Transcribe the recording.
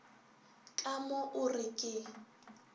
ka mo o re ke